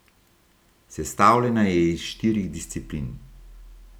Sestavljena je iz štirih disciplin.